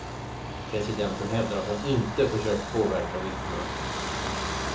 Presidenten hävdar att han inte försökt påverka vittnen.